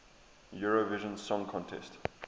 eurovision song contest